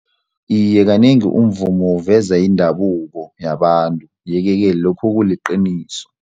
Iye, kanengi umvumo uveza indabuko yabantu yeke-ke lokhu kuliqiniso.